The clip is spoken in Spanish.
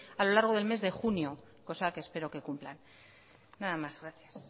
a lo largo del mes de junio cosa que espero que cumplan nada más gracias